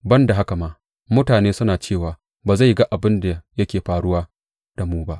Ban da haka ma, mutane suna cewa, Ba zai ga abin da yake faruwa da mu ba.